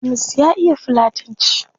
Hamisu ya iya fulatanci